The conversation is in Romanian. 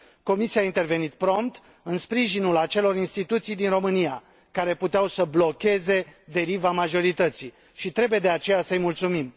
Comisia a intervenit prompt, în sprijinul acelor instituții din România care puteau să blocheze deriva majorității și trebuie, de aceea, să îi mulțumim.